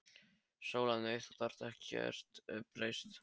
SÓLA: Nei, þú hefur ekkert breyst.